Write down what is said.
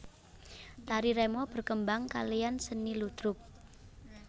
Tari remo berkembang kalean seni ludruk